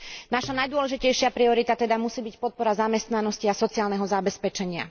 Naša najdôležitejšia priorita teda musí byť podpora zamestnanosti a sociálneho zabezpečenia.